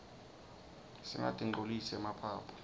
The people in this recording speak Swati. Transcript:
singatirqcolisi emaphaphu